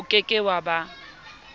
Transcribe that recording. o ke ke wa ba